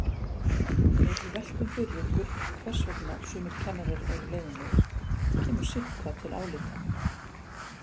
Ef við veltum fyrir okkur hvers vegna sumir kennarar eru leiðinlegir kemur sitthvað til álita.